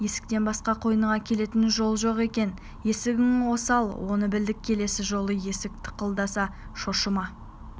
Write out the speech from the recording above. есіктен басқа қойныңа келетін жол жоқ екен есігің осал оны білдік келесі жолы есік тықылдаса шошыма